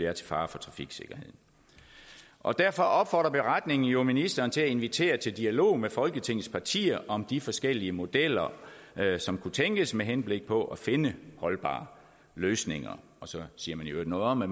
er til fare for trafiksikkerheden og derfor opfordrer beretningen jo ministeren til at invitere til dialog med folketingets partier om de forskellige modeller som kunne tænkes indført med henblik på at finde holdbare løsninger og så siger man i øvrigt noget om at